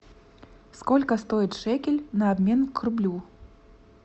сколько стоит шекель на обмен к рублю